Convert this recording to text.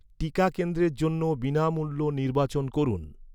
টিকা কেন্দ্রের জন্য বিনামূল্য নির্বাচন করুন।